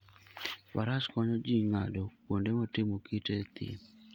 Faras konyo ji ng'ado kuonde motimo kite e thim.